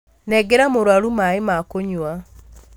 Nengera mũrwaru maĩ ma kunyua